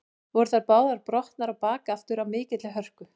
Voru þær báðar brotnar á bak aftur af mikilli hörku.